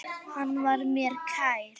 Hann var mér kær.